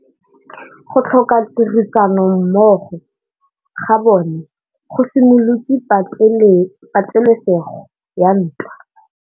Go tlhoka tirsanommogo ga bone go simolotse patêlêsêgô ya ntwa.